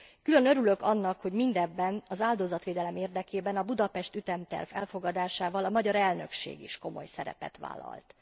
Külön örülök annak, hogy mindebben az áldozatvédelem érdekében a Budapest ütemterv elfogadásával a magyar elnökség is komoly szerepet vállalt.